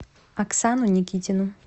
оксану никитину